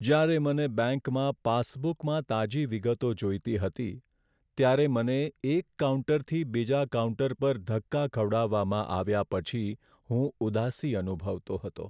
જ્યારે મને બેંકમાં પાસબુકમાં તાજી વિગતો જોઈતી હતી, ત્યારે મને એક કાઉન્ટરથી બીજા કાઉન્ટર પર ધક્કા ખવડાવવામાં આવ્યા પછી હું ઉદાસી અનુભવતો હતો.